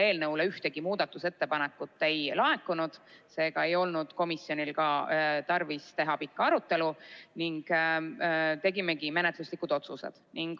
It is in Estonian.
Eelnõu kohta ühtegi muudatusettepanekut ei laekunud, seega ei olnud komisjonil tarvis teha pikka arutelu ning tegimegi menetluslikud otsused.